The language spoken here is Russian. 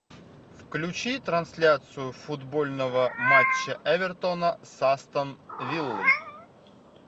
включи трансляцию футбольного матча эвертона с астон виллой